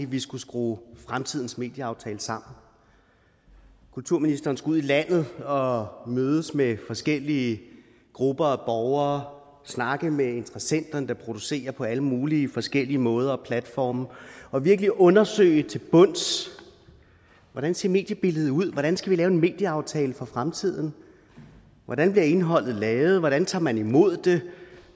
vi skulle skrue fremtidens medieaftale sammen kulturministeren skulle ud i landet og mødes med forskellige grupper af borgere og snakke med interessenterne der producerer på alle mulige forskellige måder og platforme og virkelig undersøge til bunds hvordan ser mediebilledet ud hvordan skal vi lave en medieaftale for fremtiden hvordan bliver indholdet lavet hvordan tager man imod